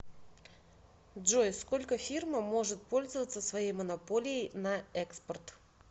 джой сколько фирма может пользоваться своей монополией на экспорт